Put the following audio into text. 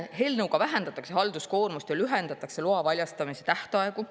Eelnõuga vähendatakse halduskoormust ja lühendatakse loa väljastamise tähtaegu.